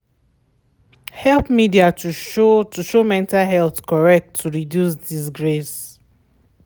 help media to show to show mental health correct to reduce disgrace.